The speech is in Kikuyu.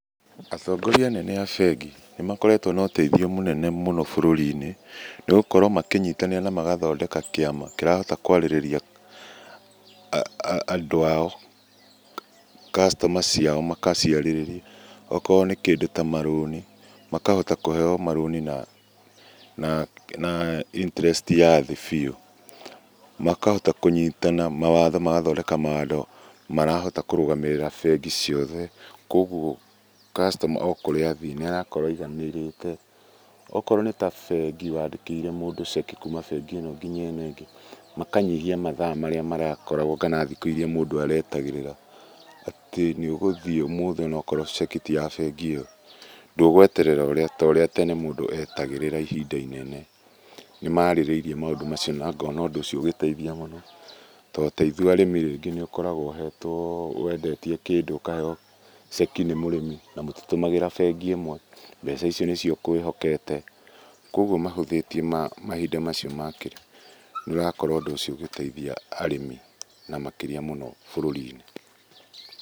Atongoria anene a bengi nĩmakoretwo na ũteithio mũnene mũno bururi-inĩ, nĩgũkorwo makĩnyitanĩra na magathondeka kiama kĩrahota kwarĩrĩria andũ ao, customer ciao makaciarĩrĩria, okorwo nĩ kĩndũ ta marũni, makahota kuheo marũni na na na interest ya thĩ biũ. Makahota kũnyitana mawatho, magathondeka mawando marahota kũrũgamĩrĩra bengi ciothe kogũo customer okũrĩa athiĩ nĩarakorwo aiganĩrĩte. Okorwo nĩ ta bengi wandĩkĩire mũndũ ceki kuma bengi ĩno nginya ĩno ĩngĩ makanyihia mathaa marĩa marakoragwo kana thikũ iria mũndũ aretagĩrĩra atĩ nĩũgũthiĩ ũmũthi onakorwo ceki ti ya bengi iyo ndũgweterera ũrĩa torĩa tene mũndũ etagĩrĩra ihinda inene. Nĩmarĩrĩirie maũndũ macio na ngona ũndũ ũcio ũgĩteithia mũno tondũ taithũĩ arĩmĩ rĩngĩ nĩũkoragwo ũhetwo wendetie kĩndũ ũkaheo ceki nĩ mũrĩmi namũtitũmagĩra bengi imwe mbeca icio nĩcio ũkwĩhokete. Kogũo mahũthĩtie mahinda macio, nĩũrakorwo ũndũ ũcĩo ũgĩteithia arĩmĩ na makĩria mũno bururi-inĩ.